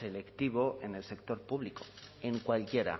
selectivo en el sector público en cualquiera